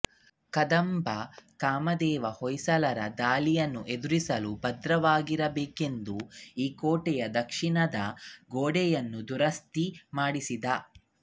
ಕದಂಬ ಕಾಮದೇವ ಹೊಯ್ಸಳರ ದಾಳಿಯನ್ನೆದುರಿಸಲು ಭದ್ರವಾಗಿರಬೇಕೆಂದು ಈ ಕೋಟೆಯ ದಕ್ಷಿಣದ ಗೋಡೆಯನ್ನು ದುರಸ್ತಿ ಮಾಡಿಸಿದ